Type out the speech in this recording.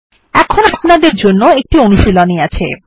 এখন আপনাদের জন্য একটি অনুশীলনী আছে